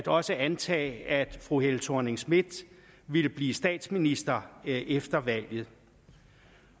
også at antage at fru helle thorning schmidt ville blive statsminister efter valget